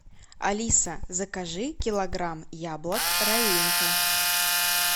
алиса закажи килограмм яблок раинка